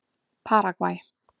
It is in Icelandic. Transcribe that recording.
Paragvæ